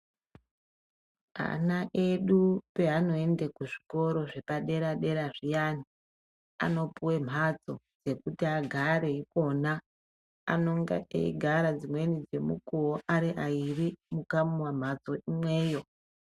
Ana edu peanoende kuzvikoro zvepaderadera zviyani anopiwe mhatso yekuti agare ikona anonga eigara dzimweni dzemukuwo ari airi mukamomhatso imweyo.